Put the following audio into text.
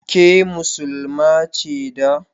Ke Muslima ce da?